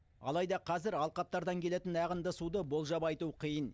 алайда қазір алқаптардан келетін ағынды суды болжап айту қиын